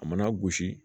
A mana gosi